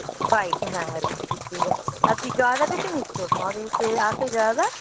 বাড়িতে হ্যাঁ হ্যাঁ আর তুই জয়দাকে চিনিস তো ঘরে সে আসে জয়দা?